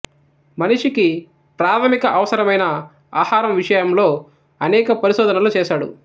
మనిషికి ప్రాథమిక అవసరమైన ఆహారం విషయంలో అనేక పరిశోధనలు చేశాడు